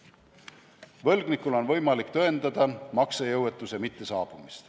Võlgnikul on võimalik tõendada maksejõuetuse mittesaabumist.